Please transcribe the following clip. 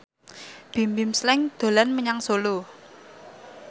Bimbim Slank dolan menyang Solo